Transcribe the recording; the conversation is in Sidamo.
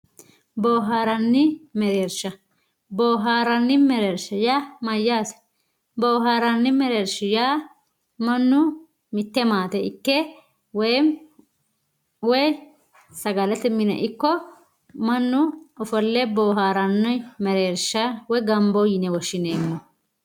boohaarranni mereersha. boohaarranni mereersha yaa mayyaate boohaarranni mereersha yaa mannu mitte maate ikke woyeemmi woy sagalete mine ikko mannu ofolle boohaaranni mereersha woy ganbo yine woshshineemmo.